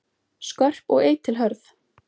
Skörp og eitilhörð.